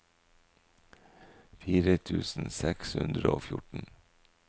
fire tusen seks hundre og fjorten